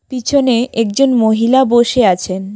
পিছনে একজন মহিলা বসে আছেন।